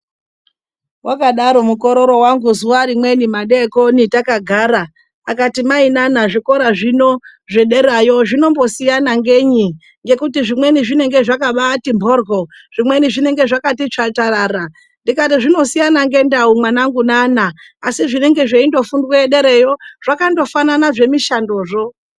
Wakadaro mukorori wangu musi umweni takagara akati mai zvikora zvino zvedera zvinombosiyana ngei ngekuti zvimweni zvinenge zvakabati mhoryo zvimweni zvinenge zvakati tsvanzvarara ndikati zvinosiyanana ngendau mwana wangu asi zvinenge zvichifundwayo zvakafanana zvemishandozvo.